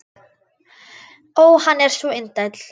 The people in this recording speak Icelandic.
Ó, hann er svo indæll!